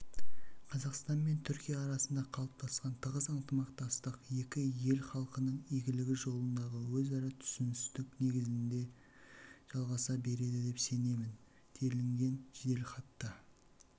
қазақстан мен түркия арасында қалыптасқан тығыз ынтымақтастық екі ел халқының игілігі жолындағы өзара түсіністік негізінде жалғаса береді деп сенемін делінген жеделхатта